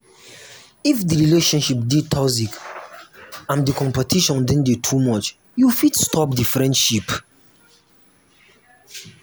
if di relationship dey toxic and um di competition don dey too much you fit stop di friendship